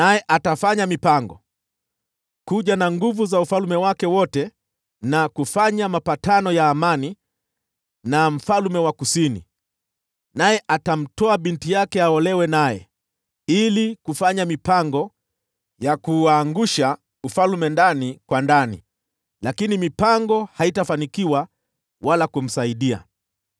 Ataamua kuja na nguvu za ufalme wake wote na kufanya mapatano ya amani na mfalme wa Kusini. Naye atamtoa binti yake aolewe naye ili kuuangusha ufalme, lakini mipango yake haitafanikiwa wala kumsaidia.